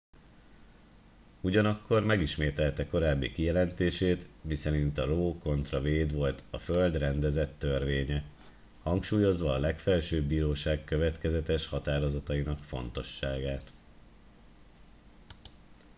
"ugyanakkor megismételte korábbi kijelentését miszerint a roe kontra wade volt a "föld rendezett törvénye" hangsúlyozva a legfelsőbb bíróság következetes határozatainak fontosságát.